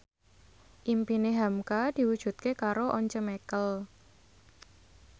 impine hamka diwujudke karo Once Mekel